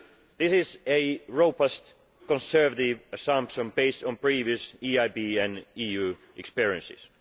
This is a robust, conservative assumption based on previous EIB and EU experiences.